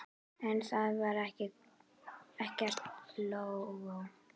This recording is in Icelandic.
En þar var ekkert lógó.